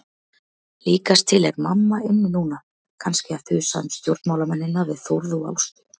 Líkast til er mamma inni núna, kannski að þusa um stjórnmálamennina við Þórð og Ástu.